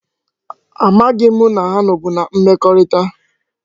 A maghi m na ha no bu na mmekorita